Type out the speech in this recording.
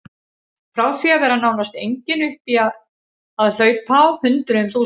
Frá því að vera nánast engin upp í að hlaupa á hundruðum þúsunda.